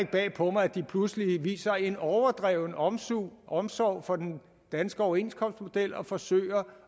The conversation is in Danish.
bag på mig at de pludselig viser en overdreven omsorg omsorg for den danske overenskomstmodel og forsøger